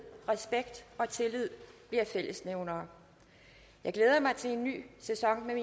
respekt og tillid bliver fællesnævnere jeg glæder mig til en ny sæson med